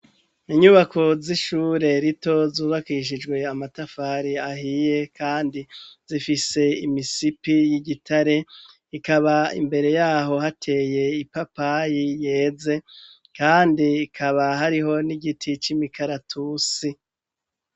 Inyubako z'ishure rito zubakishijwe amatafari ahiye kandi zifise imisipi y'igitare, ikaba imbere yaho hateye ipapayi yeze, kandi ikaba hariho n'igiti c'imikaratusi.